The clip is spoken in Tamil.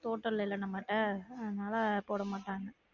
தோட்டம் இல்லேல நம்மட்ட அதனால போடமாட்டாங்க